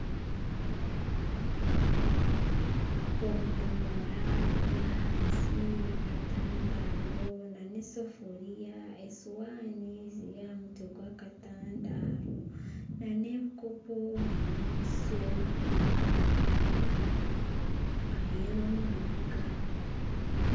Obudomora buri ahansi y'akatandaaro n'esefuriya esowaani biri aha mutwe gw'akatandaaro n'ebikopo n'omutsyo aheeru omu mbuga.